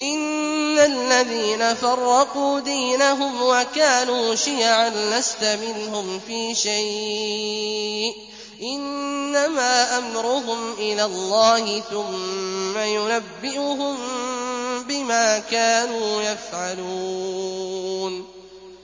إِنَّ الَّذِينَ فَرَّقُوا دِينَهُمْ وَكَانُوا شِيَعًا لَّسْتَ مِنْهُمْ فِي شَيْءٍ ۚ إِنَّمَا أَمْرُهُمْ إِلَى اللَّهِ ثُمَّ يُنَبِّئُهُم بِمَا كَانُوا يَفْعَلُونَ